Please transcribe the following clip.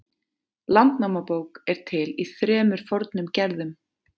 Landnámabók er til í þremur fornum gerðum.